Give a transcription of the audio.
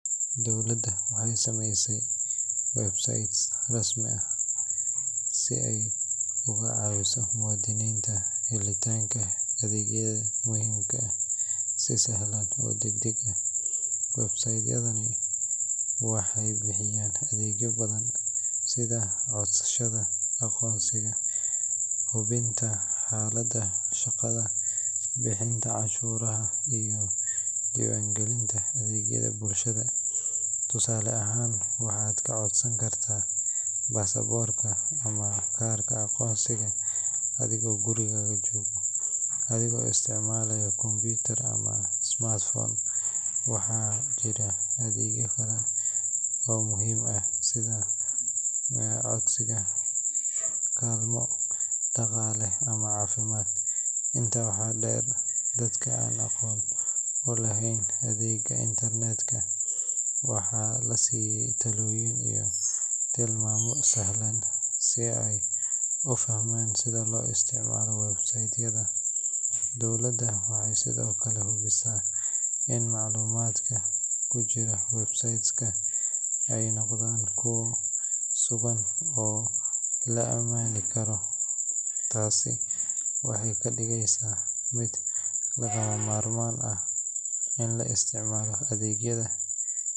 Dowladda waxay samaysay websites rasmi ah si ay uga caawiso muwaadiniinta helitaanka adeegyada muhiimka ah si sahlan oo degdeg ah. Website-yadani waxay bixiyaan adeegyo badan sida codsashada aqoonsiga, hubinta xaaladda shaqada, bixinta cashuuraha, iyo diiwaangelinta adeegyada bulshada. Tusaale ahaan, waxaad ka codsan kartaa baasaboorka ama kaarka aqoonsiga adigoo gurigaaga jooga, adigoo isticmaalaya kombuyuutar ama smartphone. Waxaa jira adeegyo kale oo muhiim ah sida codsiga kaalmo dhaqaale ama caafimaad. Intaa waxaa dheer, dadka aan aqoon u lahayn adeegsiga internet-ka waxaa la siiyay talooyin iyo tilmaamo sahlan si ay u fahmaan sida loo isticmaalo website-yada. Dowladda waxay sidoo kale hubisaa in macluumaadka ku jira websites-ka ay noqdaan kuwo sugan oo la aamini karo. Taasi waxay ka dhigaysaa mid lagama maarmaan ah in la isticmaalo adeegyada.